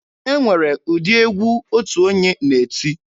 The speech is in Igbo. E nwere ụdị egwu otu onye na-eti.